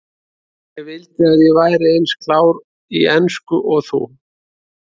Ég vildi að ég væri eins klár í ensku og þú.